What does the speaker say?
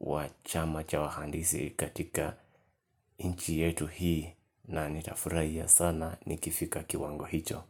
wa chama cha wahandisi katika nchi yetu hii na nitafurahia sana ni kifika kiwango hicho.